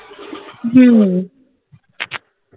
হম